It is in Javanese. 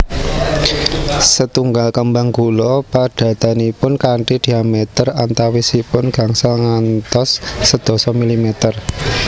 Setunggal kembang gula padatanipun kanthi diamèter antawisipun gangsal ngantos sedasa milimèter